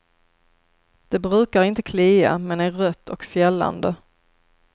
Det brukar inte klia, men är rött och fjällande.